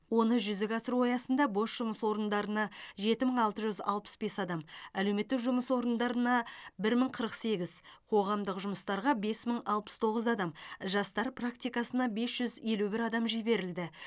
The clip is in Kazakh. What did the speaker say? оны жүзеге асыру аясында бос жұмыс орындарына жеті мың алты жүз алпыс бес адам әлеуметтік жұмыс орындарына бір мың қырық сегіз қоғамдық жұмыстарға бес мың алпыс тоғыз адам жастар практикасына бес жүз елу бір адам жіберілді